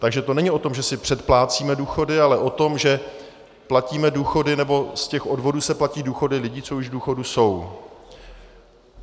Takže to není o tom, že si předplácíme důchody, ale o tom, že platíme důchody, nebo z těch odvodů se platí důchody lidí, co už v důchodu jsou.